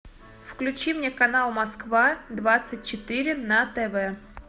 включи мне канал москва двадцать четыре на тв